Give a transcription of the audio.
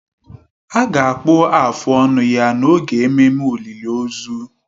A ga-akpụ afụ ọnụ ya n'oge ememme olịlị ozu.